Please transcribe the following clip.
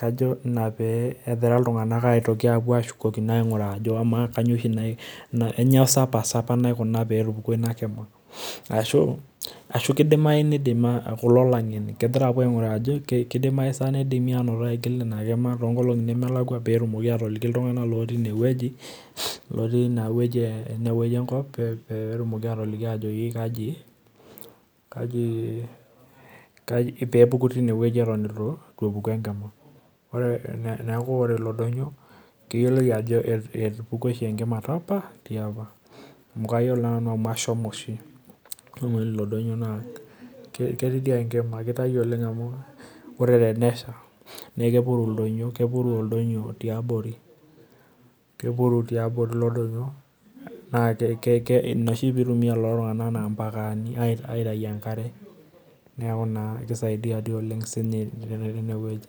kajo ina peegira ltung'anak apuo adol ainguraa ajo kanyio sa pasa apa naikuna peetupukuo inakima, ashu kulo ang'eni kepoitoi ainguraa ajo tanaa kidimi atolili ltunganak petumoki atoliki tinewueji enkop petumoki atoliki kaji pepuku tinewueji atan itu epuku enkima neaku ore ilo donyioo keyioloi Olenh amu kayiolo amu ashomo oshi amu ketii aoa enkima amu ore pesha na kepuru oldonyio abori kepuru tiabori na ina oshi pitumie kulo tunganak aitau enkare neaku na kisaidia oleng tinewueji.